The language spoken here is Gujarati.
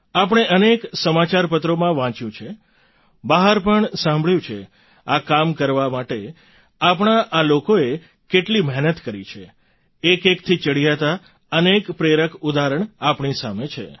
આપણે અનેક સમાચારપત્રોમાં વાંચ્યું છે બહાર પણ સાંભળ્યું છે આ કામ કરવા માટે આપણા આ લોકોએ કેટલી મહેનત કરી છે એકએકથી ચડિયાતાં અનેક પ્રેરક ઉદાહરણ આપણી સામે છે